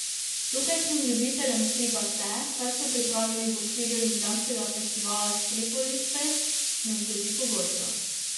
Tukajšnjim ljubiteljem stripa se, kar so pripravili v okviru ljubljanskega festivala Stripolisfest, ne zgodi pogosto.